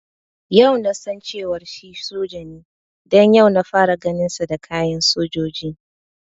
Yau nasan cewar shi soja ne don yau na fara ganin sa da kayan sojoji